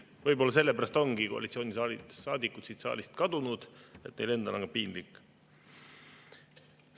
Võib-olla sellepärast ongi koalitsioonisaadikud siit saalist kadunud, sest neil endal on ka piinlik.